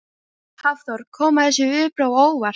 Hafþór: Koma þessi viðbrögð á óvart?